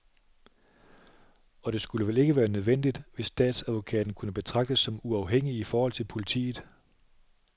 Og det skulle vel ikke være nødvendigt, hvis statsadvokaten kunne betragtes som uafhængig i forhold til politiet.